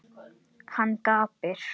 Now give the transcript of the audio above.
Hann gapir.